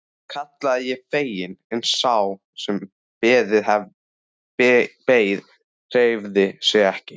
kallaði ég fegin en sá sem beið hreyfði sig ekki.